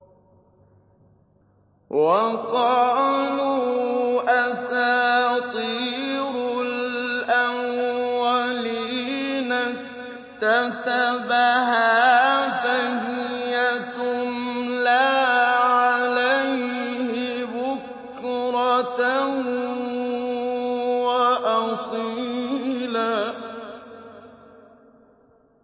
وَقَالُوا أَسَاطِيرُ الْأَوَّلِينَ اكْتَتَبَهَا فَهِيَ تُمْلَىٰ عَلَيْهِ بُكْرَةً وَأَصِيلًا